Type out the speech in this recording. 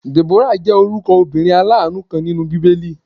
Deborah jẹ́ orúkọ obìnrin alanu kan nínú bíbélì.